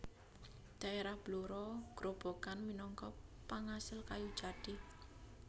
Daerah Blora Grobogan minangka pangasil kayu jati